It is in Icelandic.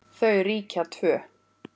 Þau ríkja tvö.